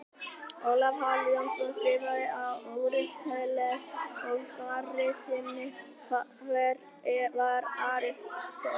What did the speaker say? Ólafur Páll Jónsson skrifar um Aristóteles í svari sínu Hver var Aristóteles?